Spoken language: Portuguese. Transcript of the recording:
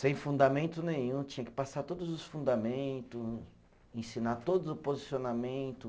Sem fundamento nenhum, tinha que passar todos os fundamento, ensinar todo o posicionamento.